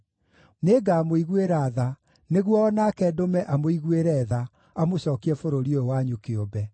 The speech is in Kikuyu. Nĩngamũiguĩra tha, nĩguo o nake ndũme amũiguĩre tha, amũcookie bũrũri ũyũ wanyu kĩũmbe.’